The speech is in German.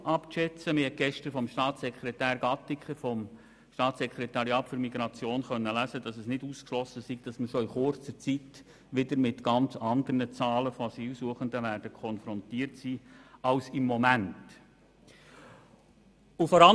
Gestern konnte man eine Aussage von Staatssekretär Gattiker vom Staatssekretariat für Migration lesen, wonach es nicht ausgeschlossen sei, dass wir bereits in kurzer Zeit wieder mit ganz anderen Zahlen von Asylsuchenden konfrontiert sein werden als dies im Moment der Fall sei.